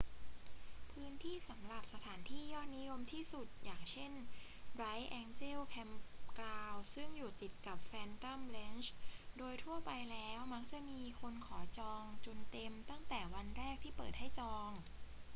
พื้นที่สำหรับสถานที่ยอดนิยมที่สุด อย่างเช่น bright angel campground ซึ่งอยู่ติดกับ phantom ranch โดยทั่วไปแล้วมักจะมีคนขอจองจนเต็มตั้งแต่ในวันแรกที่เปิดให้จอง